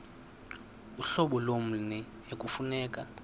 uhlobo lommi ekufuneka